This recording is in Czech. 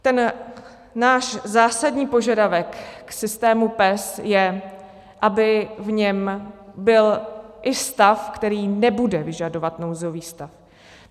Ten náš zásadní požadavek k systému PES je, aby v něm byl i stav, který nebude vyžadovat nouzový stav.